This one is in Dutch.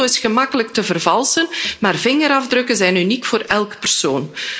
Een foto is gemakkelijk te vervalsen, maar vingerafdrukken zijn uniek voor elke persoon.